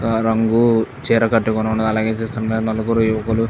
రా రంగు చీర కట్టుకొని ఉన్నారు.చూస్తుంటే నలుగురు యువకులు --